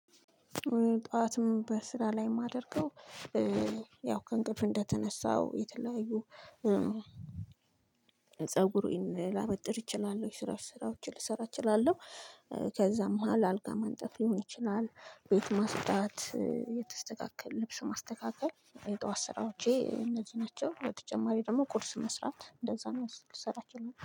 ጠዋትም በስራ ላይ የማደርገው ያው ከእንቅልፍ እንደተነሳው የተለያዩ ፀጉሬን ላበጥር እችላለሁ የስራ ስራዎችን ልሰራ እችላለሁ። ከዛም መሃል አልጋ ማንጠፍ ሊሆን ይችላል ቤት ማጽዳት የተስተካከለ ልብስ ማስተካከል የጧት ስራዎቼ እነዚህ ናቸው። በተጨማሪ ደግሞ ቁርስ መስራት እንደዛ ነው። ልሰራችሁ